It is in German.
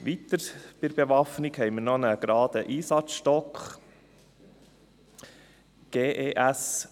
Weiter haben wir bei der Bewaffnung noch einen geraden Einsatzstock (GES).